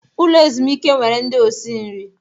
Ụlọ ezumike nwere ndị osi nri.